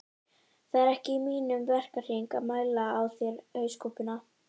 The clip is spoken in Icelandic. Það er ekki í mínum verkahring að mæla á þér hauskúpuna